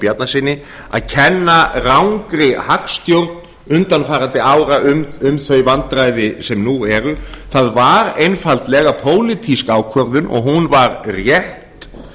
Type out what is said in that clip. bjarnasyni að kenna rangri hagstjórn undanfarandi ára um þau vandræði sem nú eru það var einfaldlega pólitísk ákvörðun og hún var rétt